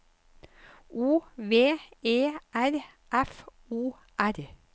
O V E R F O R